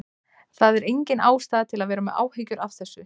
Það er engin ástæða til að vera með áhyggjur af þessu.